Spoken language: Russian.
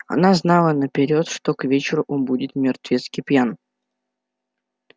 она знала наперёд что к вечеру он будет мертвецки пьян